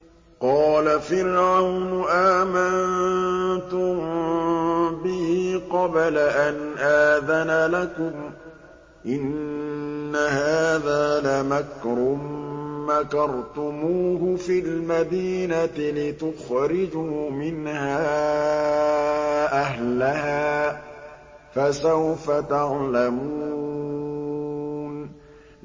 قَالَ فِرْعَوْنُ آمَنتُم بِهِ قَبْلَ أَنْ آذَنَ لَكُمْ ۖ إِنَّ هَٰذَا لَمَكْرٌ مَّكَرْتُمُوهُ فِي الْمَدِينَةِ لِتُخْرِجُوا مِنْهَا أَهْلَهَا ۖ فَسَوْفَ تَعْلَمُونَ